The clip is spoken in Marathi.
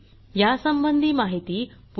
यासंबंधी माहिती पुढील साईटवर उपलब्ध आहे